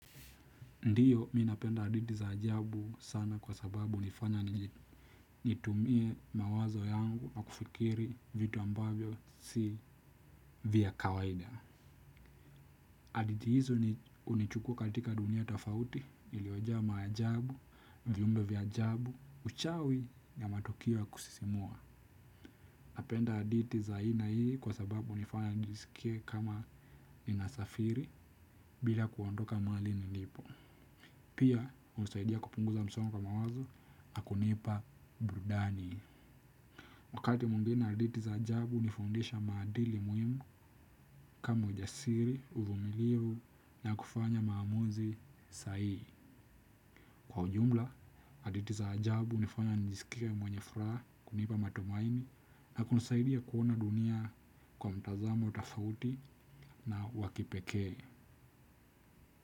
Ndiyo, mimi napenda hadithi za ajabu sana kwa sababu hunifanya nitumie mawazo yangu na kufikiri vitu ambavyo si vya kawaida. Hadithi hizo hunichukua katika dunia tofauti, iliyojaa maajabu, vyumbe vya ajabu, uchawi ya matukio ya kusisimua. Napenda hadithi za aina hii kwa sababu hunifanya nijisikie kama ninasafiri bila kuondoka mahali nilipo pia, hunisaidia kupunguza msongo wa mawazo na kunipa burudani wakati mwingene hadithi za ajabu hunifundisha madili muhimu kama ujasiri, uvumilivu na kufanya maamuzi sahihi kwa ujumla, hadithi za ajabu hunifanya nijisikie mwenye furaha kunipa matumaini na kunisaidia kuona dunia kwa mtazamo tofauti na wa kipekee.